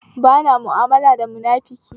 Bana ma'amala da munafiki